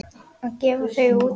Að gefa þau út!